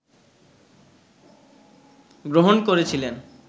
গ্রহণ করেছিলেন